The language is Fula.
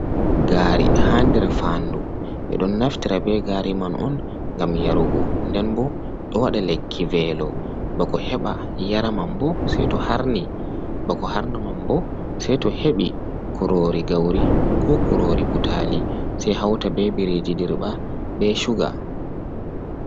Gari ha nder fandu. Ɓe ɗon naftira be gari man on ngam yarugo. Nden bo ɗo waɗa lekki velo. Bako heɓa yara man bo sei to harni, bako harna man bo sei to heɓi kurori gauri, ko kurori butali, sei hauta be biriji dirɓa be shuga.